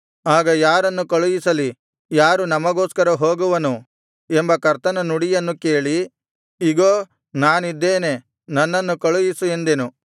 ಆಗ ಯಾರನ್ನು ಕಳುಹಿಸಲಿ ಯಾರು ನಮಗೋಸ್ಕರ ಹೋಗುವನು ಎಂಬ ಕರ್ತನ ನುಡಿಯನ್ನು ಕೇಳಿ ಇಗೋ ನಾನಿದ್ದೇನೆ ನನ್ನನ್ನು ಕಳುಹಿಸು ಎಂದೆನು